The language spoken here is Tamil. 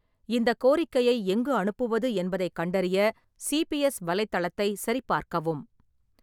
இந்தக் கோரிக்கையை எங்கு அனுப்புவது என்பதைக் கண்டறிய சிபிஎஸ் வலைத்தளத்தைச் சரிபார்க்கவும்.